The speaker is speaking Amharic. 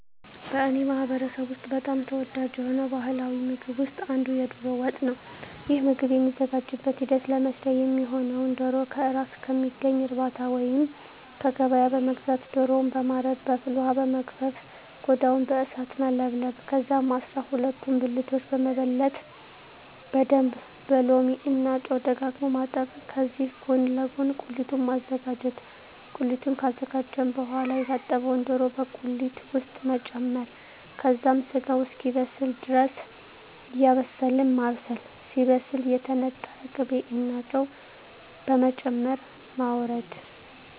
በእኔ ማህበረሰብ ውስጥ በጣም ተወዳጅ የሆነው ባሀላዊ ምግብ ውስጥ አንዱ የዶሮ ወጥ ነው። ይህ ምግብ የሚዘጋጅበት ሂደት ለመስሪያ የሚሆነውነ ዶሮ ከእራስ ከሚገኝ እርባታ ወይንም ከገበያ በመግዛት ዶሮውን በማረድ በፍል ወሀ በመግፈፍ ቆዳውን በእሳት መለብለብ ከዛም አስራሁለቱን ብልቶች በመበለት በደንብ በሎሚ እና ጨው ደጋግሞ ማጠብ ከዚህ ጎን ለጎን ቁሊቱን ማዘጋጀት ቁሊቱን ካዘጋጀን በሆዋላ የታጠበውን ዶሮ በቁሊት ውስጥ መጨመር ከዛም ስጋው እስኪበስል ድረስ እያማሰልን ማብሰል ሲበስል የተነጠረ ቅቤ እና ጨው በመጨመር ማወረድ።